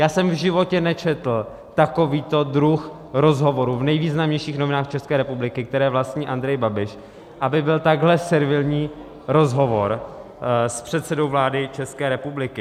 Já jsem v životě nečetl takovýto druh rozhovoru v nejvýznamnějších novinách České republiky, které vlastní Andrej Babiš, aby byl takhle servilní rozhovor s předsedou vlády České republiky.